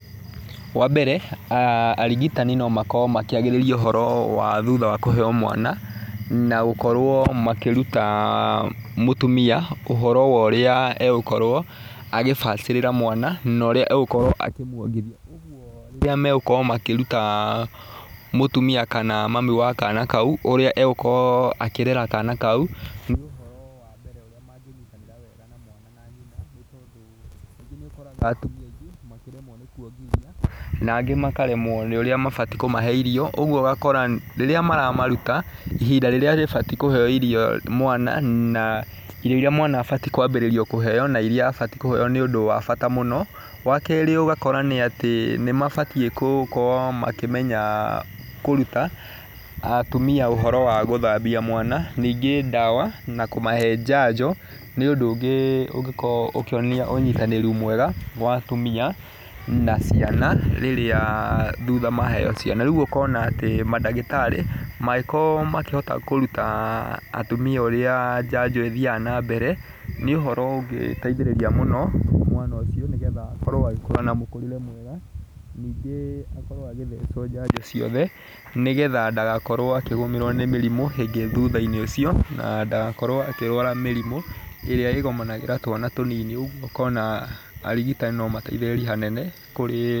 Wa mbere arigitani no makorwo makĩagĩriria ũhoro wa thutha wa kũheo mwana na gũkorwo makĩruta mũtumia ũhoro wa ũrĩa egũkorwo akĩbacĩrĩra mwana na ũrĩa egukorwo akimwongithia. Ũguo rĩrĩa megũkorwo makĩruta mũtumia kana mamu wa kana kau ũrĩa egũkorwo akĩrera kana kau nĩ ũhoro wa mbere ũrĩa mangĩnyitanĩra na mwana na nyina. Nĩ tondũ kaingĩ nĩ ũkoraga atumia aingĩ makiremwo nĩ kuongithia na angĩ makaremwo nĩ ũrĩa mabatiĩ kũmahe irio. Ũguo ũgakora rĩrĩa maramaruta ihinda rĩrĩa rĩbatiĩ kuheo irio mwana na irio iria mwana abatiĩ kwambĩrĩrio kũheo na iria abatiĩ kũheo nĩ ũndũ wa bata mũno. Wa kerĩ ũgakora nĩ atĩ nĩ mabatiĩ gũkorwo makĩmenya kũruta atumia ũhoro wa gũthambia mwana ningĩ ndawa na kũmahe njanjo, nĩ ũndũ ũngĩ ũngĩkorewo ũkĩonania ũnyitanĩri mwega wa atumia na ciana rĩrĩa thutha ma heo ciana. Rĩu ũkona atĩ mandagĩtarĩ mangĩkorwo makĩhota kũruta atumia ũrĩa njanjo ĩthiaga na mbere nĩ ũhoro ũngĩ ũngĩteithĩrĩria mũno mwana ũcio nĩ getha akorwo agĩkũra na mũkũrĩre mwega. Ningĩ akorwo agĩthecwo njanjo ciothe nĩ getha ndagakorwo akĩgũmĩrwo nĩ mĩrimũ ĩngĩ thutha-inĩ ũcio, na ndagakorwo akĩrwara mĩrimũ ĩrĩa ĩgũmagĩra twana tũnini. Ũguo ũkona arigitani no mateithĩrĩrie hanene kũrĩ.